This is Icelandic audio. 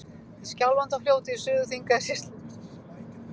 Í Skjálfandafljóti í Suður-Þingeyjarsýslu.